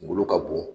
Kungolo ka bon